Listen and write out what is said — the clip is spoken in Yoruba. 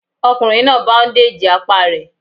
Ọkùnrin náà báúndèjì apá rẹ̀